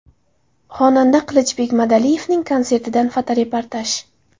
Xonanda Qilichbek Madaliyevning konsertidan fotoreportaj.